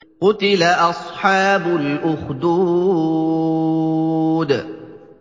قُتِلَ أَصْحَابُ الْأُخْدُودِ